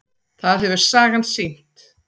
Það hefur sagan sýnt.